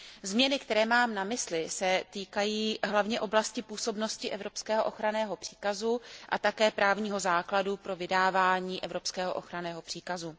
Změny, které mám na mysli, se týkají hlavně oblasti působnosti evropského ochranného příkazu a také právního základu pro vydávání evropského ochranného příkazu.